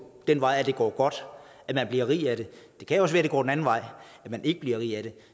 den vej at det går godt og at man bliver rig af det det kan jo også være at det går den anden vej og at man ikke bliver rig af det